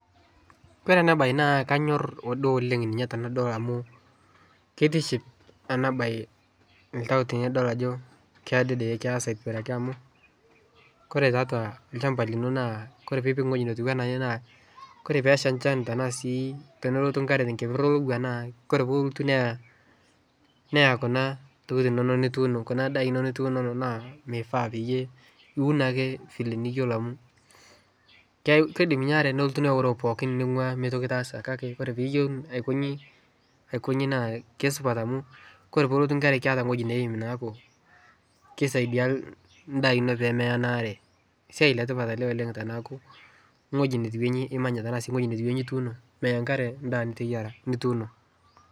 Ore ena bae na kanyor oleng amu tinidol naa kitiship ena bae ltau tenidol ajo kedede keesa atimiraki amukore toatua lchampai lino Kore pee ipik eweji atiu naa ore pee esha enchan ashu elotu nkeper olowua naa Kore pee elotu neya Kuna daa inonok naa nifaa niun ake ena eniyiolo amu keidim ninye inaare nelotu neoroo pookin neyieu enaa metii toki nitaasa. Kake keyieu nikonji naa kisupat amu ore pee elotu nkare ketaa eweji neim neeku kisaidia ndaa ino pee meya enaare. siai letipat ele teneeku weji netiu inji imanya ashu weji netiu inji imanya ,meya nkare ndaa nituuno.